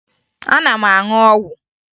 Ana m aṅụ ọgwụ